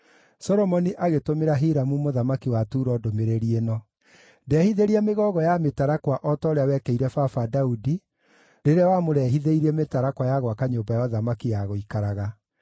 Solomoni agĩtũmĩra Hiramu mũthamaki wa Turo ndũmĩrĩri ĩno: “Ndehithĩria mĩgogo ya mĩtarakwa o ta ũrĩa wekĩire baba Daudi rĩrĩa wamũrehithĩirie mĩtarakwa ya gwaka nyũmba ya ũthamaki ya gũikaraga.